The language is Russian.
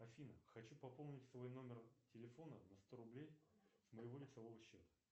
афина хочу пополнить свой номер телефона на сто рублей с моего лицевого счета